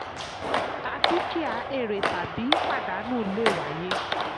tà dúkìá: èrè tàbí pàdánù lè wáyé.